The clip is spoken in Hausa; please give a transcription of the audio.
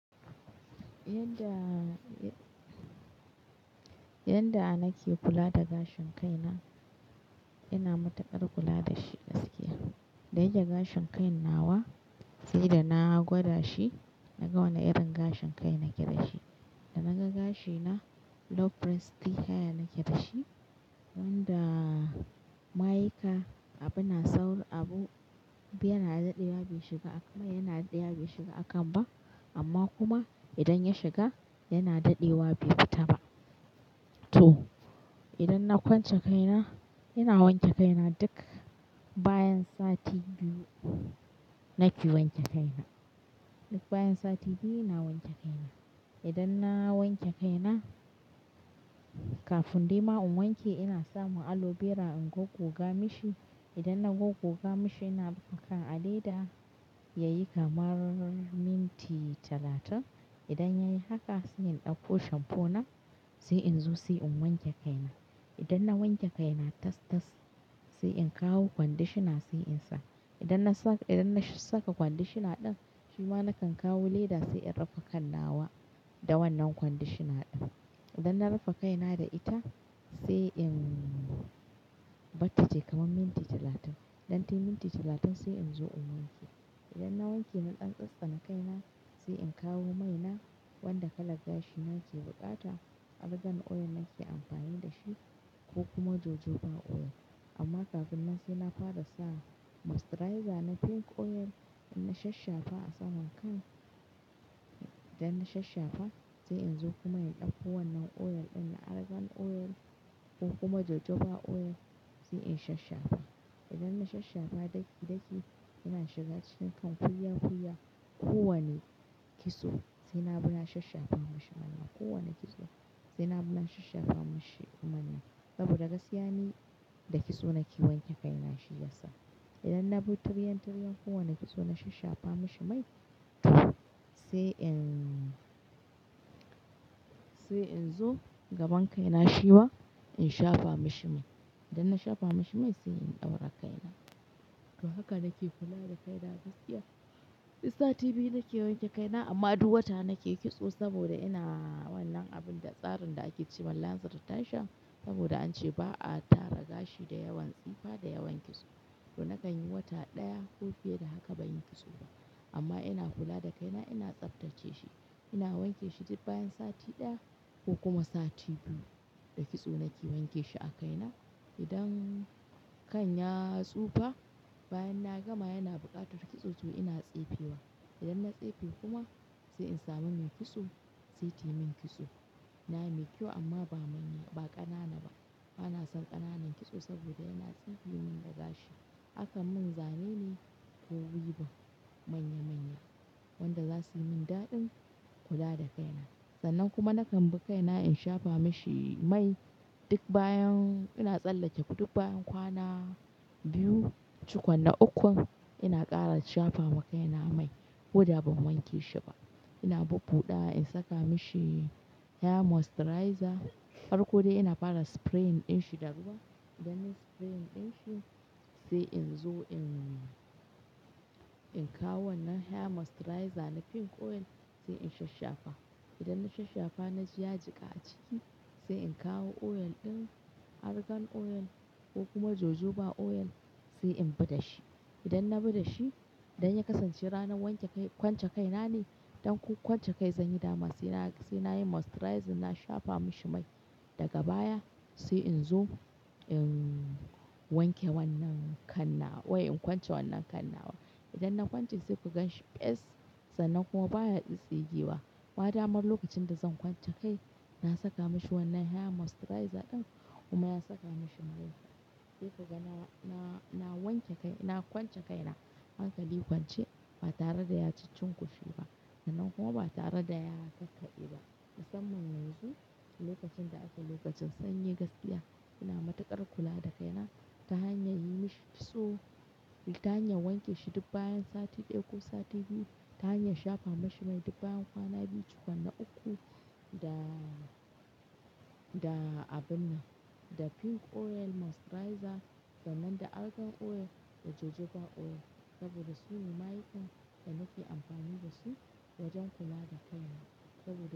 Yanda, yanda nake kula da gashin kaina, ina matukar kula da shi gaskiya. Da yake gashin kan nawa sai da na gwada shi, na ga wane irin gashin kai nake da shi. Da naga gashi na low porosity hair nake da shi, wanda mayika abin na saura abu biyar na daɗewa bai shiga a kan ba yana daɗewa bai shiga a kan ba amma kuma idan ya shiga yana daɗewa bai fita ba. To idan na kwance kaina ina wanke kaina duk bayan sati biyu nake wanke kaina. Duk bayan sati biyu ina wanke kaina. Idan na wanke kaina kafin dai ma in wanke ina samu aloe vera in gogoga mishi. Idan na gogoga mishi ina rufe kan a leda yayi kamar minti talatin. Idan yayi haka sai in ɗauko shampoo na sai in zo sai in wanke kaina. Idan na wanke kaina tas-tas sai in kawo conditioner sai in sa. Idan na sa, idan na saka conditioner ɗin shi ma nakan kawo leda sai in rufe kannawa da wannan conditioner ɗin. Idan na rufe kaina da ita sai in ɓatta tai kamar minti talatin. Idan tayi minti talatin sai in zo in wanke. Idan na wanke na tsantsani kaina sai in kawo mai na wanda kalar gashi na yake bukata argan oil nake amfani da shi ko kuma jojoba oil. Amma kafin nan sai na fara sa moisturizer na pink oil in shashshafa a saman kai. Idan na shashshafa sai in zo kuma in ɗauko wannan oil ɗin argan oil ko kuma jojoba oil sai in shashshafa. Idan na shashshafa daki-daki yana shiga cikin kunfulla-kunfulla kowane kitso sai na bi na shashshafa mashi mannan. Kowane kitso sai na bi na shashshafa mashi mannan saboda gaskiya ni da kitso nake wanke kaina shi ya sa. Idan na bi turyan-turyan kowane kitso na shafafa mashi mai sai in, sai in zo gaban kaina shi ma in shafa mashi mai. Idan na shafa mashi mai sai in ɗaura kaina. To haka nake kula da kaina gaskiya. Duk sati biyu nake wanke kaina amma duk wata nake kitso saboda ina wannan abin da tsarin da ake ce ma launcher retention saboda an ce ba'a tara gashi da yawan tsifa da yawan kitso. To nakan yi wata ɗaya ko fiye da haka ban yi kitso ba. Amma ina kula da kaina ina tsaftace shi. Ina wanke shi duk bayan sati ɗaya ko kuma sati biyu. Da kitso nake wanke shi a kaina. Idan kan ya tsufa bayan na gama yana buƙatar kitso to ina tsefe wa. Idan na tsefe kuma sai in samu mai kitso sai tayi min kitso. Na mai kyau amma ba manya, ba ƙanana ba. Bana son ƙananan kitso saboda yana tsifiyomin da gashi. Akan mun zane ne ko wivun manya-manya wanda za su yi min daɗin kula da kaina. Sannan kuma nakan bi kaina in shafa mashi mai duk bayan ina tsallake duk bayan kwana biyu, cikon na ukun ina ƙara shafa ma kaina mai ko da ban wanke shi ba. Ina bu-buɗa in saka mishi hair moisturizer. Farko dai ina fara spray ɗin shi da ruwa. Idan nayi spray ɗin shi sai in zo in, in kawo wannan hair moisturizer na pink oil sai in shashshafa. Idan na shashshafa na ji ya jiƙa a ciki sai in kawo oil ɗin argan oil ko kuma jojoba oil sai in bi da shi. Idan na bi da shi idan ya kasance ranar wanke kai, kwance kaina ne don ko kwance kai zan yi dama sai na, sai na yi moisturizer na shafa mashi mai daga baya sai in zo in wanke wannan kanna, wai in kwance wannan kannawa. Idan na kwance zai kuga shi fes sannan kuma baya ƙi tsaye yi ba. Ba da mar lokacin da zan kwance kai na saka mishi wannan hair moisturizer ɗin kuma na saka mishi mai. Sai kaga na, na, na wanke kai, na kwance kai na hankali kwance ba tare da ya cicin kuce ba sannan kuma ba tare da ya kakkaɓe ba. Musamman yanzu lokacin da ake lokacin sanyi gaskiya ina matukar kula da kaina ta hanyar yi mishi kitso, ta hanyar wanke shi duk bayan sati ɗaya ko sati biyu, ta hanyar shafa mashi mai duk bayan kwana biyu cikon na ukku da, da abin nan, da pink oil moisturizer daman da argan oil da jojoba oil saboda su ne mayikan da nake amfani da su wajen kula da kaina saboda.